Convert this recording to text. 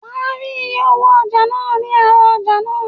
Wàá rí iye owó ọjà náà ní ara ọjà náà.